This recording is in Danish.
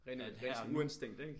Ren øh rent sådan urinstinkt ikke?